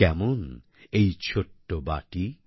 কেমন এই ছোট্ট বাটি